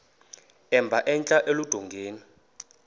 emba entla eludongeni